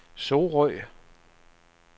Sorø